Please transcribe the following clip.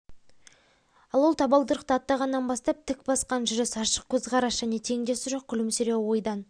ал ол табалдырықты аттағаннан бастап тік басқан жүріс ашық көзқарас және теңдесі жоқ күлімсіреуі ойдан